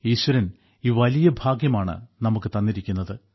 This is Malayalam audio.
ഈശ്വരൻ ഈ വലിയ ഭാഗ്യമാണ് നമുക്ക് തന്നിരിക്കുന്നത്